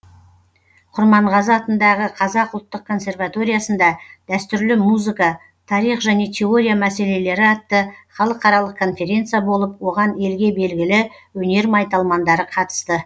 құрманғазы атындағы қазақ ұлттық консерваториясында дәстүрлі музыка тарих және теория мәселелері атты халықаралық конференция болып оған елге белгілі өнер майталмандары қатысты